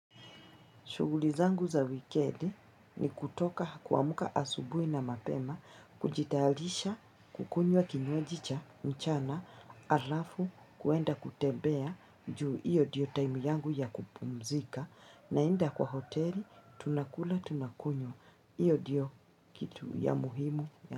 Shughuli zangu za wikedi ni kutoka kuamka asubui na mapema, kujitayalisha, kukunywa kinywajicha, mchana, alafu, kuenda kutebea, juu iyo ndiyo time yangu ya kupumzika, naenda kwa hoteli, tunakula, tunakunywa, iyo ndiyo kitu ya muhimu.